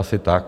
Asi tak.